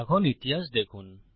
এখন ইতিহাস দেখুন